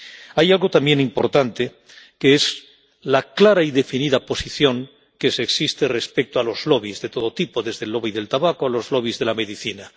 Hay algo también importante, que es la clara y definida posición que existe respecto a los lobbies de todo tipo, desde el lobby del tabaco a los lobbies de la medicina.